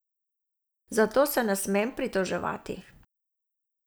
Zato se ne smem pritoževati.